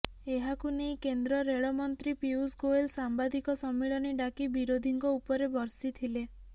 ଏହାକୁ ନେଇ କେନ୍ଦ୍ର ରେଳ ମନ୍ତ୍ରୀ ପିୟୁଷ ଗୋଏଲ ସାମ୍ବାଦିକ ସମ୍ମିଳନୀ ଡାକି ବିରୋଧୀଙ୍କ ଉପରେ ବର୍ଷିଥିଲେ